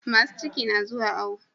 Masu ciki na zuwa awo